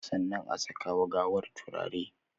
Sannan a saka wa gawar turare